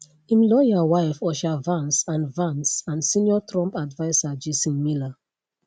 im lawyer wife usha vance and vance and senior trump adviser jason miller